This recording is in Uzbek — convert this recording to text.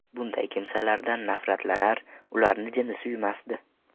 Bunday kimsalardan nafratlanar, ularni jini suymasdi.